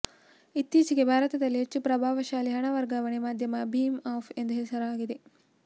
ಇತ್ತೀಚೆಗೆ ಭಾರತದಲ್ಲಿ ಹೆಚ್ಚು ಪ್ರಭಾವಶಾಲಿ ಹಣ ವರ್ಗಾವಣೆ ಮಾಧ್ಯಮ ಭೀಮ್ ಆಪ್ ಎಂದು ಹೆಸರಾಗಿದೆ